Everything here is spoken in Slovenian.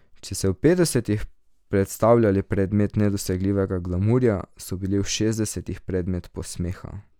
Če so v petdesetih predstavljali predmet nedosegljivega glamurja, so bili v šestdesetih predmet posmeha.